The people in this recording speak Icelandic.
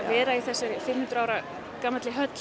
vera í þessari fimm hundruð ára gamalli höll